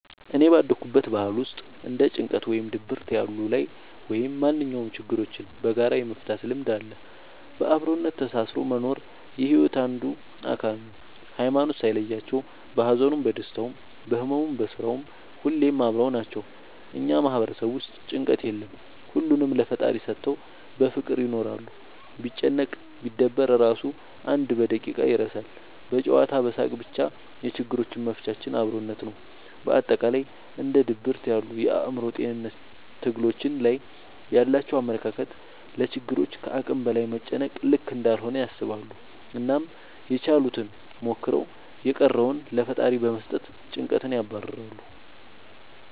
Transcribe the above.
እኔ ባደኩበት ባህል ውስጥ እንደ ጭንቀት ወይም ድብርት ያሉ ላይ ወይም ማንኛውም ችግሮችን በጋራ የመፍታት ልምድ አለ። በአብሮነት ተሳስሮ መኖር የሒወት አንዱ አካል ነው። ሀይማኖት ሳይለያቸው በሀዘኑም በደስታውም በህመሙም በስራውም ሁሌም አብረው ናቸው። እኛ ማህበረሰብ ውስጥ ጭንቀት የለም ሁሉንም ለፈጣሪ ሰተው በፍቅር ይኖራሉ። ቢጨነቅ ቢደበር እራሱ አንድ በደቂቃ ይረሳል በጨዋታ በሳቅ በቻ የችግሮች መፍቻችን አብሮነት ነው። በአጠቃላይ እንደ ድብርት ያሉ የአእምሮ ጤንነት ትግሎች ላይ ያላቸው አመለካከት ለችግሮች ከአቅም በላይ መጨነቅ ልክ እንዳልሆነ ያስባሉ አናም ያችሉትን ሞክረው የቀረውን ለፈጣሪ በመስጠት ጨንቀትን ያባርራሉ።